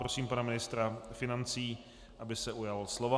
Prosím pana ministra financí, aby se ujal slova.